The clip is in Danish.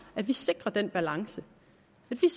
at vi sikrer den balance vi